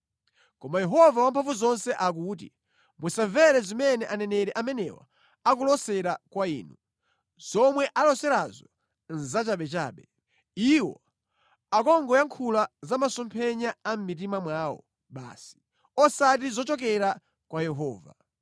Koma Yehova Wamphamvuzonse akuti, “Musamvere zimene aneneri amenewa akulosera kwa inu; zomwe aloserazo nʼzachabechabe. Iwo akungoyankhula za masomphenya a mʼmitima mwawo basi, osati zochokera kwa Yehova.